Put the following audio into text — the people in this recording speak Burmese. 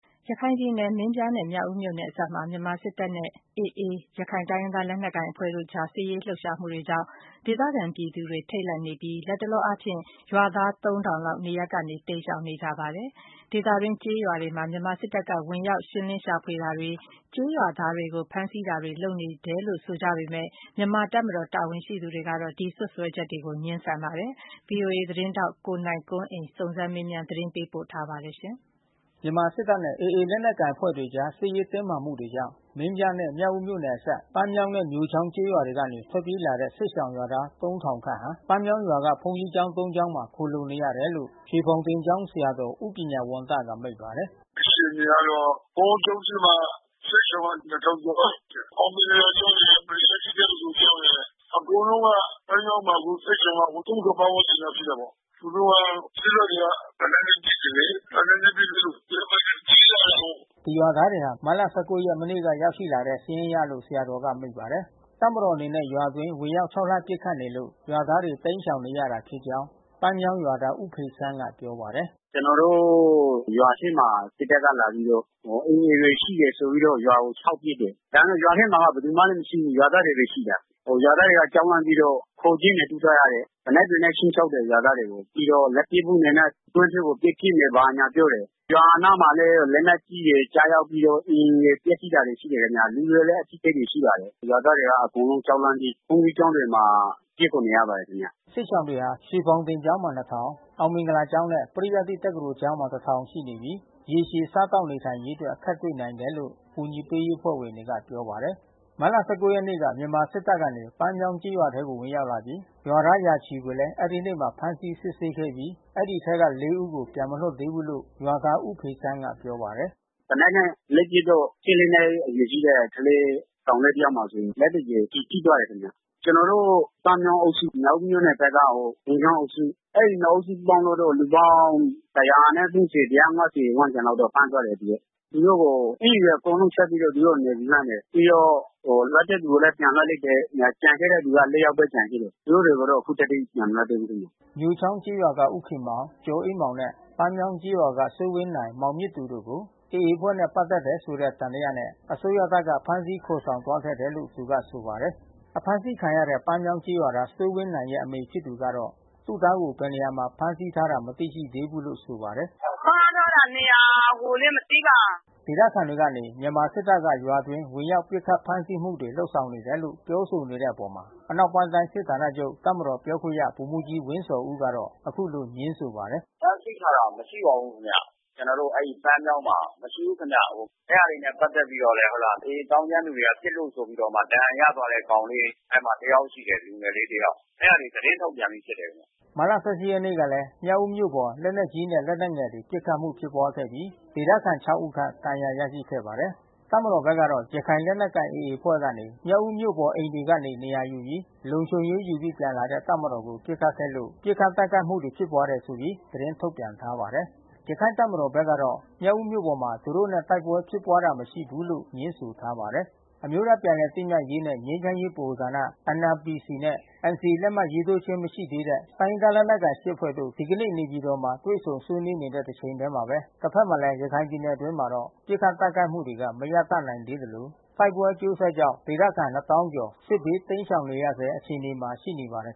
ရခိုင်ပြည်နယ် မင်းပြားနဲ့ မြောက်ဦးမြို့နယ်အစပ်မှာ မြန်မာစစ်တပ် နဲ့ AA ရခိုင် လက်နက်ကိုင်အဖွဲ့တို့အကြား စစ်ရေး လှုပ်ရှားမှုတွေကြောင့် ဒေသခံပြည်သူတွေ ထိတ်လန့်နေပြီး၊ လတ်တလောအားဖြင့် ရွာသား သုံးထောင်လောက် နေရပ် ကနေ တိမ်းရှောင်နေကြပါတယ်။ ဒေသအတွင်း ကျေးရွာတွေမှာ မြန်မာစစ်တပ်က ဝင်ရောက် ရှင်းလင်းရှာဖွေတာတွေ၊ ကျေးရွာသားတွေကို ဖမ်းဆီးတာတွေလုပ်နေတယ်လို့ ဆိုကြပေမယ့်၊ မြန်မာတပ်မတော်တာဝန်ရှိသူတွေကတော့ ဒီစွပ်စွဲချက်တွေကို ငြင်းဆန်ပါတယ်။ ဗွီအိုအေမြန်မာပိုင်း သတင်းထောက် နိုင်ကွန်းအိန်ကနေ သတင်းပေးပို့ထား ပါတယ်။ မြန်မာစစ်တပ်နဲ့ AA လက်နက်ကိုင်အဖွဲ့အကြား စစ်ရေးတင်းမာ မှုတွေကြောင့် မင်းပြား နဲ့မြောက်ဦးမြို့နယ်အစပ် ပန်းမြောင်းနဲ့ မြိုချောင်းကျေးရွာတွေ ကနေ ထွက်ပြေးလာတဲ့ စစ်ရှောင်ရွာသား ဟာ ပန်းမြောင်ရွာက ဘုန်းကြီး ကျောင်း ကျောင်းမှာ ခိုလှုံနေရတယ်လို့ ရွှေဖေါင်တင်ကျောင်း ဆရာတော် ဦးပညာဝံသကမိန့်ပါတယ်။ “အခြေအနေကတော့ ဘုန်ကြီး ကျောင်းထဲမှာ စစ်ရှောင် ကျော်လောက်ရှိတယ်။ အောင်မင်္ဂလာကျောင်းရယ် ပရိယတ္တိတက္ကသိုလ်ကျောင်းရယ် အကုန်လုံးက ပန်းမြောင်းမှာ အခုစစ်ရှောင်က ပတ်ဝန်းကျင်လောက်ရှိတာပေါ့။ သူတို့က စစ်တပ်တွေက လက်နက်ပစ်တယ်လေ။ လက်နက်နဲ့ပစ်လို့ သူတို့ဘက်ကပြေးလာတယ်ပါ့။” ဒီရွာသားတွေဟာ မတ်လ ရက် မနေ့ကရောက်ရှိလာတဲ့ စာရင်းအရလို့ ဆရာတော်က မိန့်ပါတယ်။ တပ်မတော်အနေနဲ့ရွာအတွင်း ဝင်ရောက်ခြောက်လှန့်ပစ်ခတ်နေလို့ ရွာသားတွေ တိမ်းရှောင်နေရတာဖြစ်ကြောင်း ပန်းမြောင်းရွာသားဦးဖေဆန်းကပြောပါတယ်။ “ကျွန်တော်တို့ရွာထဲမှာ စစ်တပ်ကလာပြီးတော့ AAတွေရှိတယ်ဆိုပြီးတော့ ရွာကိုခြောက်ပစ်တယ်။ ဒါပေမဲ့ရွာထဲမှာက ဘယ်သူမှမရှိဘူး။ ရွာသားတွေ ဘဲရှိတာ။ ရွာသားတွေကြောက်လန့်ပြီးတော့ခိုကျင်းတွေတူးထားရတယ်။ သေနတ် တွေ နဲ့ခြိမ်းခြောက်တယ် ရွာသားတွေကို။ ပြီးတော့လက်ပစ်ဗုံးတွေနဲ့ တွင်းထဲကို ပစ်ထည့်မယ်လို့ဘာညာပြောတယ်။ ရွာအ နားမှာလဲ လက်နက်ကြီးတွေ ကျရောက်ပြီးတော့ အိမ်တွေပျက်စီးတာရှိတယ်။ လူတွေလဲအထိခိုက်တွေရှိပါတယ်။ ရွာသား တွေက အကုန်လုံးကြောက်လန့်ပြီး ဘုန်ကြီးကျောင်းတွေမှာ ပြေးခိုနေရပါတယ်ခင်ဗျ။” စစ်ရှောင်တွေဟာ ရွှေဖေါင်တင်ကျောင်းမှာ အောင်မင်္ဂလာကျောင်းနဲ့ ပရိယတ္တိ တက္ကသိုလ်ကျောင်းမှာ ရှိနေပြီး ရေရှည်စားသောက်နေထိုင်ရေး အတွက် အခက်တွေ့ နိုင်တယ်လို့ကူညီရေးအဖွဲ့ဝင်တွေကပြောပါတယ်။ မတ်လ ရက်နေ့က မြန်မာစစ်တပ်ကပန်းမြောင်ကျေးရွာထဲဝင်ရောက်လာပြီး ရွာသား ၁၀၀ ကျော်ကိုလည်း အဲဒီနေ့မှာပဲ ဖမ်းဆီးစစ်ဆေးခဲ့ပြီး ဒီအထဲက ဦး ကိုပြန်မလွှတ်သေးဘူး လို့ ရွာသားဦးဖေဆန်းက ပြောပါတယ်။ “သေနတ်နဲ့လိုက်ပစ်တော့ နှစ်အရွယ်ရှိတဲ့ကလေး ကောင်လေးတယောက်မှာ သူ့မှာလက်သူကြွယ် ကျည်ထိသွား တယ်ခင်ဗျ။ ကျွန်တော်တို့ပန်းမြောင်းအုပ်စု မြောက်ဦးမြို့နယ်ထဲက မြိုချောင်းအုပ်စု အဲဒီနှစ်အုပ်စုပေါင်းလိုက်တော့ လူပေါင်း၁၃၀- ၁၅၀ ဝန်းကျင်လောက်တော့ဖမ်းသွားတယ်။ သူတို့ကို အင်္ကျီတွေ အကုန်လုံးချွတ်ပြီးတော့ နေပူ လှန်းတယ်။ ပြီးတော့လွှတ်တဲ့ လူတွေကိုပြန်လွှတ် လိုက်တယ်။ ကျန်ခဲ့တဲ့သူက ယောက်ဘဲကျန်ခဲ့တယ်။ သူတို့တွေ ကိုတော့ အခုထက်ထိ ပြန်မလွှတ်သေးဘူး။” မြိုချောင်းကျေးရွာက ဦးခင်မောင် ကျော်အေးမောင်နဲ့ ပန်းမြောင်းကျေးရွာက စိုးဝင်းနိုင်မောင်မြင့်လှိုင် တို့ကို AA အဖွဲ့နဲ့ ပတ်သက်တယ်ဆိုတဲ့ သံသယနဲ့ အစိုးရတပ်က ဖမ်းဆီးခေါ်ဆောင်သွားခဲ့တယ်လို့ သူဆိုပါတယ်။ အဖမ်းဆီးခံရတဲ့ပန်းမြောင်းကျေးရွာသား စိုးဝင်းနိုင်ရဲ့အမေဖြစ်သူကတော့ သူသားကို ဘယ်နေရာမှာဖမ်းထားတာ မသိရှိသေးဘူးလို့ ဆိုပါတယ်။ “ဖမ်းထားတာနေရာကိုလဲမသိပါ။” ဒေသခံတွေကနေ မြန်မာစစ်တပ်က ရွာအတွင်း ဝင်ရောက် ပစ်ခတ်ဖမ်းဆီးမှုတွေ လုပ်ဆောင် နေတယ်လို့ ပြောဆို နေတဲ့အပေါ် အနောက်ပိုင်း တိုင်းစစ်ဌာနချုပ် တပ်မတော်ပြောခွင့်ရဗိုလ်မှူးကြီးဝင်းဇော်ဦးကတော့ အခုလိုငြင်းဆို ပါတယ်။ “ဖမ်းဆီးထားတာမရှိပါဘူးခင်ဗျ။ ကျွန်တော်တို့အဲဒီ ပန်းမြောင်းမှာမရှိဘူးခင်ဗျ။ အဲတာတွေနဲ့ပက်သက်ပြီးတော့လဲ AAသောင်းကျန်းသူတွေက ပစ်လို့ဆိုပြီးတော့ မှ ဒဏ်ရာရသွားတဲ့ကောင်လေး အဲဒီမှာတယောက်ရှိတယ်လူငယ်လေး။ အဲတာတွေ သတင်းထုတ်ပြန်ပြီးဖြစ်တယ်။” မတ်လ ရက်နေ့ကလဲ မြောက်ဦးမြို့ပေါ် လက်နက်ကြီး လက်နက်ငယ်တွေနဲ့ပစ်ခတ်မှုဖြစ်ပွားခဲ့ပြီး ဒေသခံ ဦး ခန့် ဒဏ်ရာရရှိခဲ့ပါတယ်။ တပ်မတော်ဖက်ကတော့ ရခိုင်လက်နက်ကိုင်AA အဖွဲ့ကနေ မြောက်ဦးမြို့ပေါ် အိမ်တွေကနေ နေရာယူပြီး လုံခြုံရေးယူ ပြီး ပြန်လာတဲ့ တပ်မတော်ကို ပစ်ခတ်ခဲ့လို့ ပစ်ခတ်တိုက်ခိုက်မှုတွေ ဖြစ်ပွါးတယ်ဆိုပြီး သတင်းထုတ်ပြန်ထားပါတယ်။ ရခိုင်တပ်မတော်ဘက်ကတော့ မြောက်ဦးမြို့ပေါ်မှာ သူတို့နဲ့တိုက်ပွဲဖြစ်ပွါးတာ မရှိဘူးလို့ငြင်းဆိုထားပါတယ်။ အမျိုးသားပြန်လည်သင့်မြတ်ရေးနှင့် ငြိမ်းချမ်းရေးဗဟိုဌာန နဲ့NCA လက်မှတ်ရေးထိုး ခြင်းမရှိသေးတဲ့ တိုင်းရင်းသားလက်နက်ကိုင် ၈ ဖွဲ့တို့ ဒီကနေ့ နေပြည်တော် မှာ တွေ့ဆုံဆွေးနွေးနေ တဲ့ တချိန်တည်းမှာပဲ၊ တဖက် ကလည်း ရခိုင်ပြည်နယ်အတွင်းမှာတော့ ပစ်ခတ် တိုက်ခိုက်မှုတွေက မရပ်တန့်နိုင်သေးသလို တိုက်ပွဲအကျိုး ဆက်ကြောင့် ဒေသခံ ကျော် စစ်ဘေး တိမ်းရှောင်နေရဆဲ အခြေအနေမှာရှိနေပါတယ်